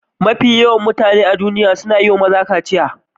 Mafi yawan mutane a duniya suna yi wa maza kaciya.